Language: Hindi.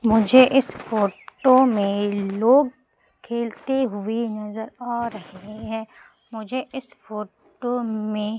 मुझे इस फोटो में लोग खेलते हुए नजर आ रहे हैं मुझे इस फोटो में--